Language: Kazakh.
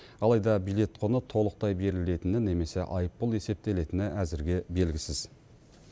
алайда билет құны толықтай берілетіні немесе айыппұл есептелетіні әзірге белгісіз